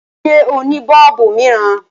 Ṣé o ní bọọlubu miiran?